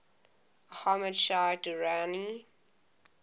ahmad shah durrani